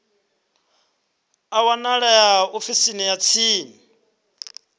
a wanalea ofisini ya tsini